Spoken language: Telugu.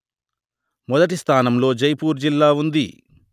మొదటి స్థానంలో జైపూర్ జిల్లా ఉంది